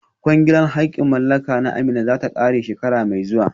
Kwangilar haƙƙin mallaka na Amina za ta ƙare a shekara mai zuwa